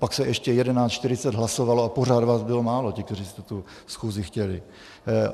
Pak se ještě 11.40 hlasovalo a pořád vás bylo málo, těch, kteří jste tu schůzi chtěli.